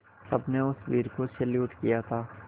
सबने उस वीर को सैल्यूट किया था